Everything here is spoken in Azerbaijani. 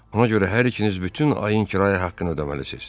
Ona görə hər ikiniz bütün ayın kirayə haqqını ödəməlisiniz.